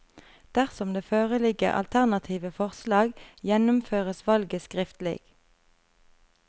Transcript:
Dersom det foreligger alternative forslag, gjennomføres valget skriftlig.